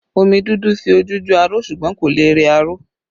Omi dúdú fi ojú jọ aró ṣùgbọ́n kò lè rẹ aṣọ